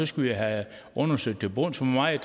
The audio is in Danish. skal have undersøgt til bunds hvor meget